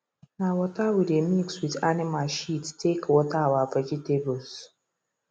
na waterwe dey mix with animal shit take water our vegetables